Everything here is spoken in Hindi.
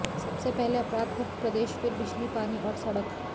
सबसे पहले अपराध मुक्त प्रदेश फिर बिजली पानी और सड़क